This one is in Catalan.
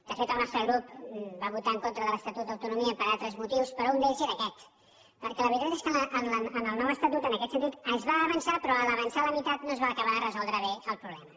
de fet el nostre grup va votar en contra de l’estatut d’autonomia per altres motius però un d’ells era aquest perquè la veritat és que en el nou estatut en aquest sentit es va avançar però a l’avançar la meitat no es va acabar de resoldre bé el problema